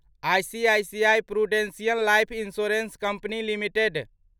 ICICI Prudential Life Insurance Company limited